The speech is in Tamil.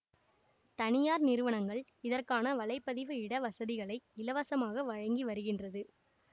தனியார் நிறுவனங்கள் இதற்கான வலை பதிவு இட வசதிகளை இலவசமாக வழங்கி வருகின்றது